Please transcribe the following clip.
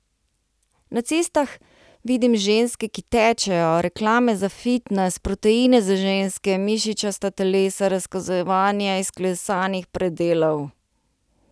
Na cestah vidim ženske, ki tečejo, reklame za fitnes, proteine za ženske, mišičasta telesa, razkazovanje izklesanih predelov.